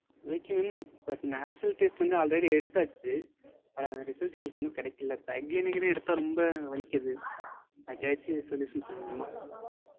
Okay mam. But nasal test வந்து already எடுத்தாச்சு. But அந்த result எங்களுக்கு இன்னும் கெடைக்கல. இப்போ again again எடுத்தா ரொம்ப வலிக்குது. எதாச்சும் சொல்ல முடியுமா?